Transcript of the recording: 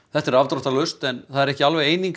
þetta er afdráttarlaust en það er ekki eining